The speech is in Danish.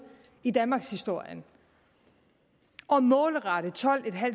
i danmarkshistorien at målrette tolvtusinde og